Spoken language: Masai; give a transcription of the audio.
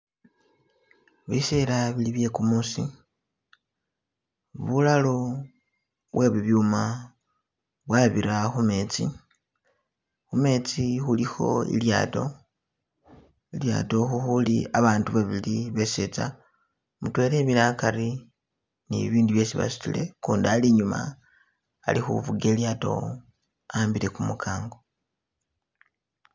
Biseela bili bye kumuusi bulalo bwe bibyuma bwabira khumetsi, khumetsi khulikho ilyato , ilyato khukhuli babandu babili besetsa mutwela emile akari ne bibindu byesi basutile ukundi ali inyuma ali khufuga ilyato a'ambile kumukango